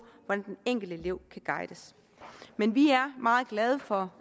hvordan den enkelte elev kan guides men vi er meget glade for